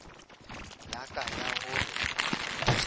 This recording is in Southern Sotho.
ya ka ya ho re